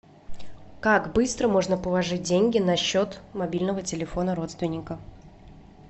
как быстро можно положить деньги на счет мобильного телефона родственника